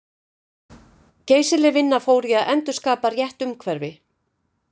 Geysileg vinna fór í að endurskapa rétt umhverfi.